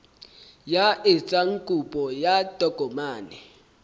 ya etsang kopo ya tokomane